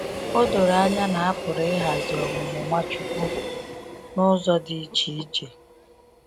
O doro anya na a pụrụ ịghazi ọmụmụ Nwachukwu n’ụzọ dị iche iche.